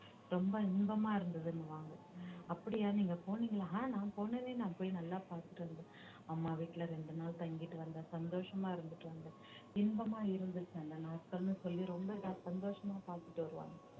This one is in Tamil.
ரொம்ப இன்பமா இருந்ததுன்னுவாங்க அப்படியா நீங்க போனீங்களா அஹ் நான் போனானே நான் போய் நல்லா பார்த்துட்டு வந்தேன் அம்மா வீட்டுல ரெண்டு நாள் தங்கிட்டு வந்தேன் சந்தோஷமா இருந்துட்டு வந்தேன் இன்பமா இருந்துச்சு அந்த நாட்கள்ன்னு சொல்லி ரொம்ப இதா சந்தோஷமா பார்த்துட்டு வருவாங்க